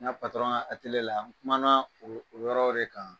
N' ka patɔrɔn ka la n kumana o yɔrɔw de kan